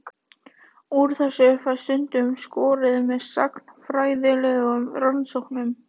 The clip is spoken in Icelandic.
Úr þessu fæst stundum skorið með sagnfræðilegum rannsóknum.